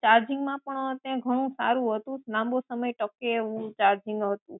ચાર્જીંગમાં પણ સારું હતું લાંબો સમય તકે એવું ચાર્જીંગ હતું